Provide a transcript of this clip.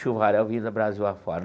Chuvaréu vindo do Brasil afora.